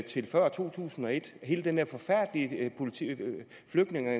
til før to tusind og et hele den der forfærdelige flygtninge og